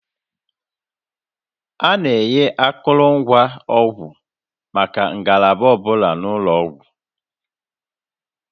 A na-enye akụrụngwa ọgwụ maka ngalaba ọ bụla n'ụlọ ọgwụ